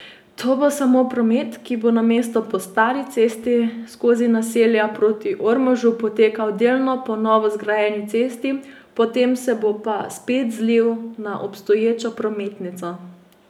To bo samo promet, ki bo namesto po stari cesti skozi naselja proti Ormožu potekal delno po novo zgrajeni cesti, potem se bo pa spet zlil na obstoječo prometnico.